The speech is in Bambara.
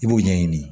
I b'o ɲɛɲini